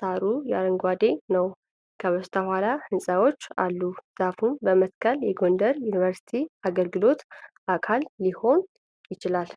ሣሩ አረንጓዴ ነው። ከበስተኋላ ህንፃዎች አሉ። ዛፍ መትከል የጎንደር ዩኒቨርሲቲ አገልግሎት አካል ሊሆን ይችላል።